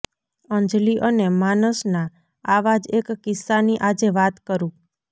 અંજલિ અને માનસના આવા જ એક કિસ્સાની આજે વાત કરું